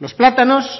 los plátanos